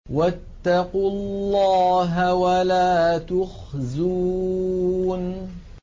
وَاتَّقُوا اللَّهَ وَلَا تُخْزُونِ